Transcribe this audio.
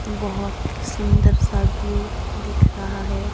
बहुत सुंदर सा व्यू दिख रहा है।